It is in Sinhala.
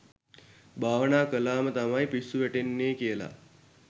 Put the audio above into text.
භවනා කළා ම තමයි පිස්සු වැටෙන්නේ කියලා.